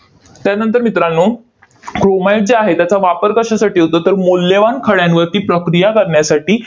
त्यानंतर मित्रांनो, chromite जे आहे, त्याचा वापर कशासाठी होतो? तर मौल्यवान खड्यांवरती प्रक्रिया करण्यासाठी